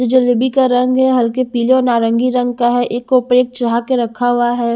जो जलेबी का रंग है हल्के पीले और नारंगी रंग का है एक के ऊपर एक चढ़ा के रखा हुआ है।